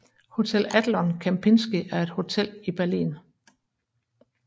Hotel Adlon Kempinski er et hotel i Berlin